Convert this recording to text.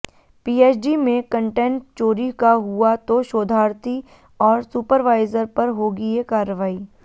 PhD में content चोरी का हुआ तो शोधार्थी और सुपरवाइजर पर होगी ये कार्रवाई